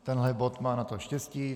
Tenhle bod má na to štěstí.